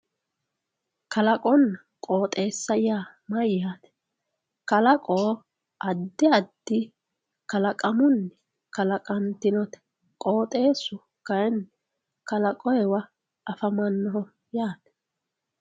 kalaqonna qooxeessa yaa mayyaate. kalaqo addi addi kalaqamunni kalaqantinote qooxeessu kayiinni kalaqoyiiwa afamannoho yaate.